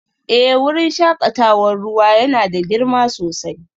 Eh wurin shakatawar ruwa yana da girma sosai